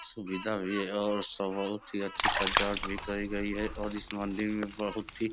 सुबिधा भी है और सब बहुत ही अच्छी सजावट भी कई गई है और इस मंदिर में बहुत ही --